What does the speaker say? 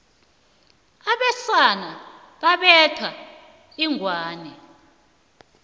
abesana babetha inghwani